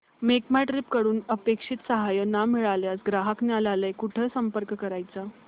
make My Trip कडून अपेक्षित सहाय्य न मिळाल्यास ग्राहक न्यायालयास कुठे संपर्क करायचा